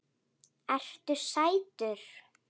Ertu sætur?